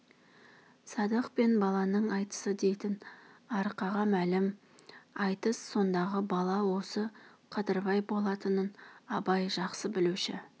садық пен баланың айтысы дейтін арқаға мәлім айтыс сондағы бала осы қадырбай болатынын абай жақсы білуші